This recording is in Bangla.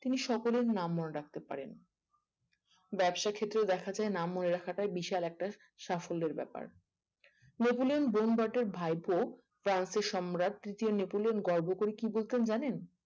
তিনি সকলের নাম মনে রাখতে পারেন ব্যবসাক্ষেত্রে দেখা যায় নাম মনে রাখাটা বিশাল একটা সাফ্যলের ব্যাপার নেপোলিয়ান বোনাপার্টের ভাইপো ফ্রান্সের সম্রাট তৃতীয় নেপোলিয়ান গর্ব করে কি বলতেন জানেন